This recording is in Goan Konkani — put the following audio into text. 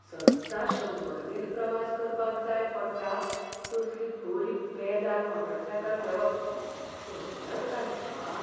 सद्दां शंबर मेल प्रवास करपाक जाय पडटा तसली बरी पेजाद मोटारसायकल घेवप परवडत काय म्हाका?